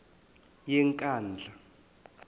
yenkandla